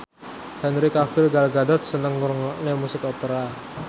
Henry Cavill Gal Gadot seneng ngrungokne musik opera